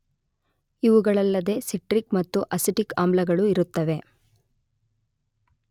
ಇವುಗಳಲ್ಲದೆ citric ಮತ್ತು acetic ಆಮ್ಲಗಳೂ ಇರುತ್ತವೆ.